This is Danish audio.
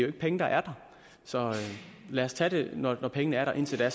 penge der er der så lad os tage det når når pengene er der indtil da